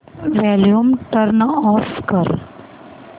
volume turn off कर